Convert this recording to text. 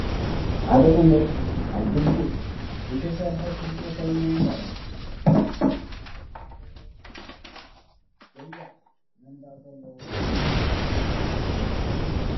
ሓደ መምህር ኣብ ብግቡእ ዘይተሰርሐ ክፍሊ ኮይኑ የምህር ኣሎ፡፡ እዚ ክፍሊ ዘይተለሰነ ገያዕ መንደቕ ዘለዎ ብምዃኑ ንምምሃር ምስትምሃር ምችውነት የብሉን፡፡